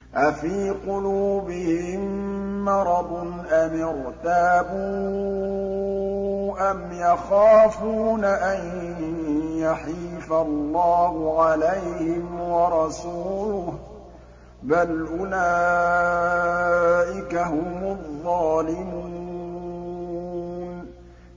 أَفِي قُلُوبِهِم مَّرَضٌ أَمِ ارْتَابُوا أَمْ يَخَافُونَ أَن يَحِيفَ اللَّهُ عَلَيْهِمْ وَرَسُولُهُ ۚ بَلْ أُولَٰئِكَ هُمُ الظَّالِمُونَ